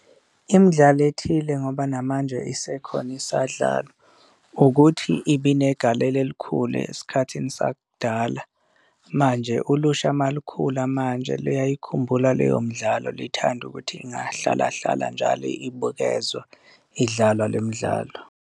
Imidlalo ethile ngoba namanje isekhona isadlalwa ukuthi ibinegalelo elikhulu esikhathini sakudala, manje ulusha uma lukhula manje luyayikhumbula leyo mdlalo lithande ukuthi ingahlalahlala njalo ibukezwa idlalwa le midlalo.